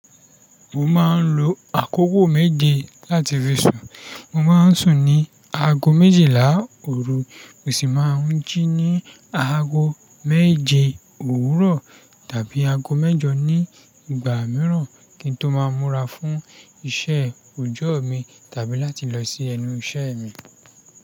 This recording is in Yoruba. Mo ma n lo àkókò méje láti fi sùn. Mo ma n sùn ní aago méjìlá òru, mo sì máa n jí ní aago méje òwúrọ̀ tàbí aago mẹ́jọ ní ìgbà mìíràn kí n tó ma múra fún iṣẹ́ òjọ́ mi tàbí láti lọ sí ẹnu iṣẹ́ mi.